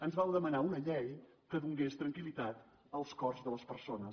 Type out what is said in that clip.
ens vau demanar una llei que donés tranquil·litat als cors de les persones